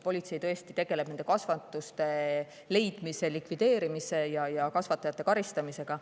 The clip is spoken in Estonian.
Politsei tõesti tegeleb nende kasvanduste leidmise, likvideerimise ja kasvatajate karistamisega.